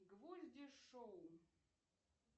гвозди шоу